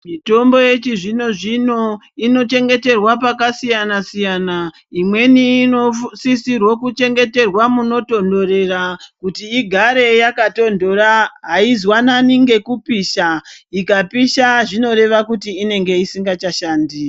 Mitombo yechizvino zvino inochengeterwa pakasiyana siyana. Imweni inosisirwo kuchengeterwa munotonhorera kuti igare yakatondora. Haizwanani ngekupisha. Ikapisha zvinoreva kuti inenge isingachashandi.